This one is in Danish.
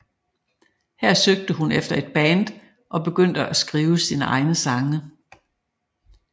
Her søgte hun efter et band og begyndte at skrive sine egne sange